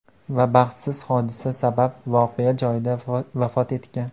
Va baxtsiz hodisa sabab voqea joyida vafot etgan .